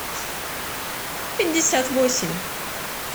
пятьдесят восемь